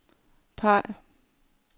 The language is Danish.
peg